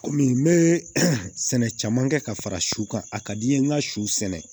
Kɔmi n bɛ sɛnɛ caman kɛ ka fara su kan a ka di n ye n ka su sɛnɛ